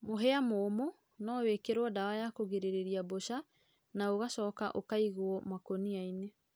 mũhĩa mũũmũ no wĩkĩrũo dawa ya kũgĩrĩrĩrĩa mbũca na ũgacoka ũkaĩgũo makũnĩa ĩnĩ